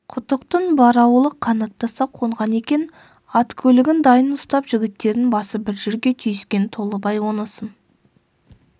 құтықтың бар аулы қанаттаса қонған екен ат-көлігін дайын ұстап жігіттердің басы бір жерге түйіскен толыбай онысын